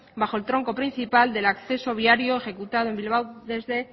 bajo el tronco principal del acceso viario ejecutado en bilbao desde